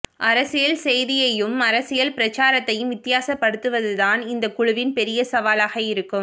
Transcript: அரசியல் செய்தியையும் அரசியல் பிரச்சாரத்தையும் வித்தியாசப்படுத்துவதுதான் இந்தக் குழுவின் பெரிய சவாலாக இருக்கும்